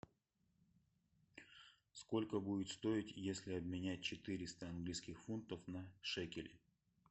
сколько будет стоить если обменять четыреста английских фунтов на шекели